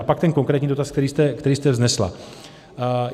A pak ten konkrétní dotaz, který jste vznesla.